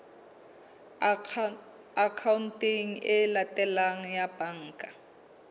akhaonteng e latelang ya banka